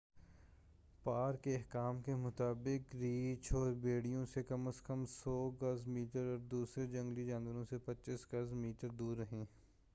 Park حکام کے مطابق، ریچھ اور بھیڑیوں سے کم از کم 100 گز/میٹر اور دوسرے جنگلی جانوروں سے 25 گز/میٹر دور رہیں!